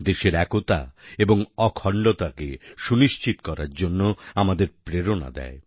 দেশের একতা এবং অখণ্ডতাকে সুনিশ্চিত করার জন্য আমাদের প্রেরণা দেয়